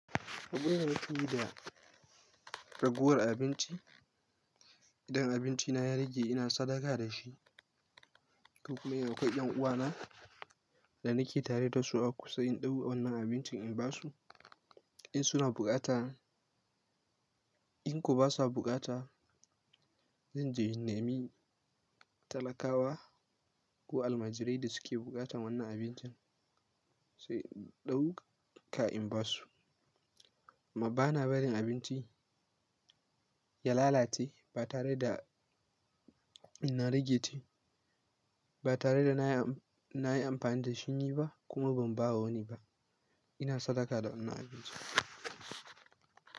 Saboda yana tu da ragowar abinci, idan abincina ya rage ina sadaka da shi. Duk kuma yana kai ɗan uwana da nake tare da su a kusa in ɗau wa wannan abincin in ba su in suna bukata. In kuwa ba sa bukata, zan je in nemi talakawa ko almajirai da suke buƙatan wannan abincin sai in ɗau ka in ba su. Amma bana barin abinci ya lalace ba tare da ina rage ta ba tare da na yi amfani da shi yi ba kuma ban ba wa wani ba. Ina sadaka da wannan abincin.